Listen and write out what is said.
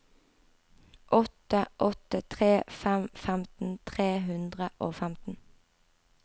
åtte åtte tre fem femten tre hundre og femten